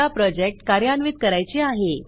आता प्रोजेक्ट कार्यान्वित करायचे आहे